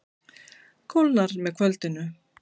Kólnar með kvöldinu